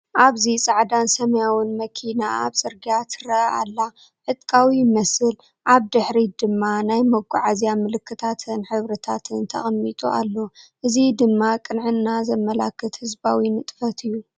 ኣብዚ ጻዕዳን ሰማያውን መኪና ኣብ ጽርግያ ትርአ ኣላ። ዕጥቃዊ ይመስል፡ ኣብ ድሕሪት ድማ ናይ መጓዓዝያ ምልክታትን ሕብርታትን ተቐሚጡ ኣሎ። እዚ ድማ ቅንዕናን ዘመልክት ህዝባዊ ንጥፈት እዩ።